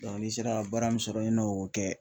ni sera baara min sɔrɔ i n'o kɛ.